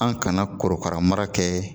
An kana korokara mara kɛ